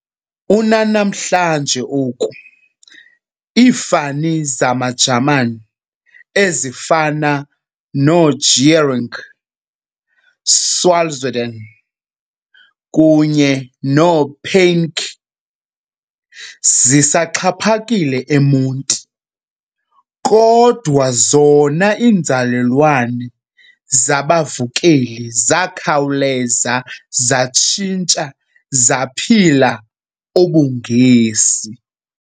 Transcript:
Unanamhla oku, iifani zamaJamani ezifana noo- Gehring, Salzwedel kunye noo-Peinke zisaxhaphakile eMonti, kodwa zona iinzalelwane zabavukeli zakhawuleza zatshintsha zaphila ubuNgesi.